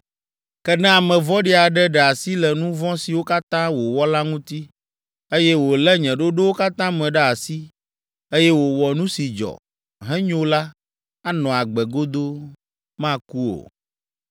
“Ke ne ame vɔ̃ɖi aɖe ɖe asi le nu vɔ̃ siwo katã wòwɔ la ŋuti, eye wòlé nye ɖoɖowo katã me ɖe asi, eye wòwɔ nu si dzɔ, henyo la, anɔ agbe godoo; maku o.